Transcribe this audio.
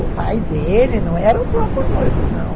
O pai dele não era o próprio noivo, não.